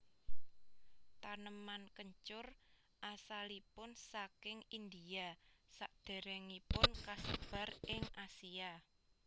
Taneman kencur asalipun saking India sadèrèngipun kasebar ing Asia